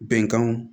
Bɛnkanw